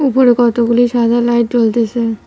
উপরে কতগুলি সাদা লাইট জ্বলতেসে।